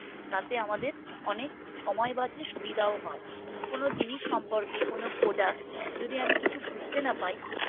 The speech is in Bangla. তাতে আমাদের অনেক সময় বাঁচে সুবিধাও হয় কোনো জিনিস সম্পর্কে কোনো Product যদি আমি কিছু বুঝতে না পাই